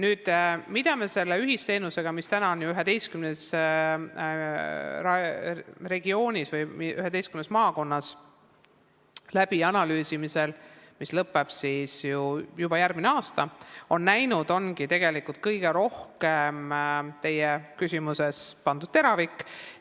Me oleme näinud selle ühisteenuse analüüsimisel 11 regioonis või 11 maakonnas kõige rohkem seda, millele on suunatud teie küsimuse teravik.